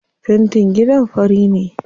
Fentin gidan fari ne.